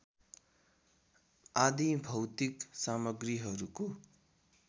आदी भौतिक सामग्रीहरूको